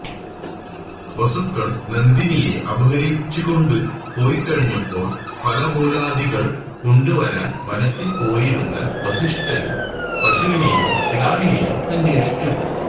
വസുക്കള് നന്ദിനിയെ അപഹരിച്ചുകൊണ്ടുപോയിക്കഴിഞ്ഞപ്പോള് ഫലമൂലാദികള് കൊണ്ടുവരാന് വനത്തില് പോയിരുന്ന വസിഷ്ഠന് പശുവിനെയും കിടാവിനെയും അന്വേഷിച്ചു